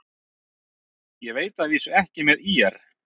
Ég veit að vísu ekki með ÍR.